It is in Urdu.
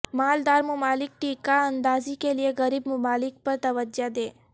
مالدار ممالک ٹیکہ اندازی کیلئے غریب ممالک پر توجہ دیں